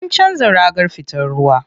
An canza ragar fitar ruwa.